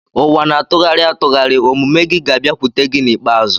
Ụwa na-atụgharị atụgharị; omume gị ga-abịakwute gị n'ikpeazụ.